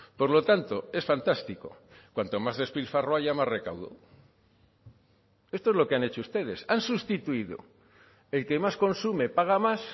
por lo tanto es fantástico cuanto más despilfarro haya más recaudo esto es lo que han hecho ustedes han sustituido el que más consume paga más